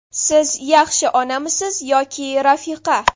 Siz yaxshi onamisiz yoki rafiqa?